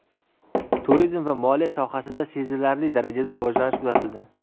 Turizm va moliya sohasida sezilarli darajada rivojlanish kuzatildi.